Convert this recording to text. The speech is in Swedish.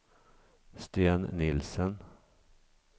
Sten Nielsen